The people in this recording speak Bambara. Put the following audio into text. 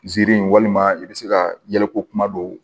Ziiri walima i bɛ se ka yɛlɛ ko kuma don